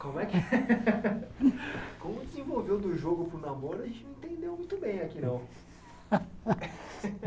Como é que... Como desenvolveu do jogo para o namoro, a gente não entendeu muito bem aqui, não.